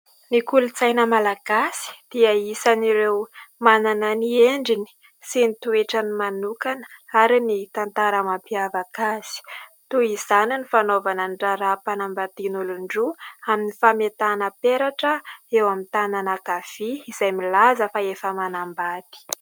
ny kolontsaina malagasy dia isan'ireo manana ny endriny sy ny toetra ny manokana ary ny tantara mampiavaka azy ,toy izany ny fanaovana ny raharaham-panambadian' olon-droa amin'ny fametahana peratra eo amin'ny tanana ankavia izay milaza fa efa manambady